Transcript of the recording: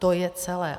To je celé.